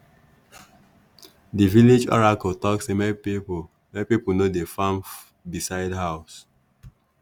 the village oracle talk sey make people people no dey farm beside housse